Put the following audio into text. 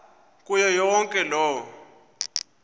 kuyo yonke loo